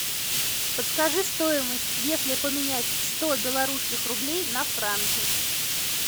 подскажи стоимость если поменять сто белорусских рублей на франки